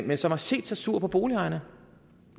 men som har set sig sur på boligejerne